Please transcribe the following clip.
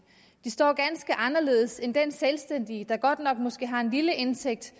de står ganske anderledes end den selvstændige der godt nok måske har en lille indtægt